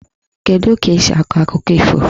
Kedu ka esi akọ akụkọ ifo?